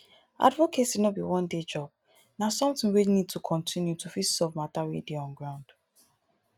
advocacy no be one day job na something wey need to continue to fit solve matter wey dey on ground